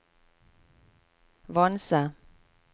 Vanse